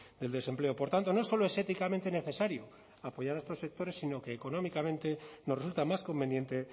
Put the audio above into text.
del desempleo por tanto no solo es éticamente necesario apoyar a estos sectores sino que económicamente nos resulta más conveniente